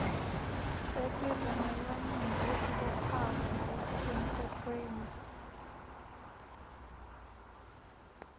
esivumelwaneni lesibophako nalesisemtsefweni